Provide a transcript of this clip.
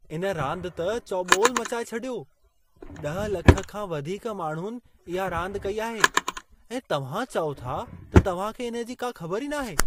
इन रांदि त चौॿेलु मचाए छॾियो। ॾह लख खां वधीक माण्हुनि इहा रांदि कई आहे, ऐं तव्हां चओ था त तव्हां खे इन्हे जी का ख़बर ई नाहे?